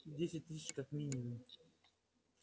десять тысяч как минимум